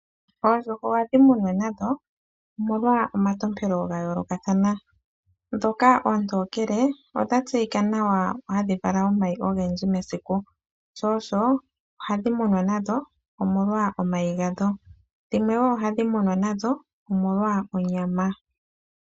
Oondjuhwa ohadhi munwa nadho omolwa omatompelo ga yoolokathana. Ndhoka oontokele odha tseyika nawa hadhi vala omayi ogendji mesiku, sho osho ohadhi munwa nadho omolwa omayi gadho. Dhimwe woo ohadhi munwa nadho omolwa onyama.